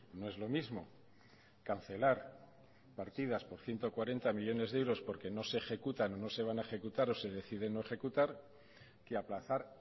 no es lo mismo cancelar partidas por ciento cuarenta millónes de euros porque no se ejecutan o no se van a ejecutar o se decide no ejecutar que aplazar